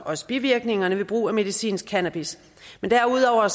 også bivirkningerne ved brug af medicinsk cannabis derudover